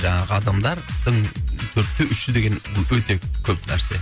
жаңағы адамдардың төртте үші деген ол өте көп нәрсе